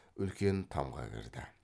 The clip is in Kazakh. үлкен тамға кірді